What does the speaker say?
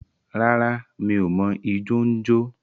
Rárá, m̀í o mọ ijọ n jọ.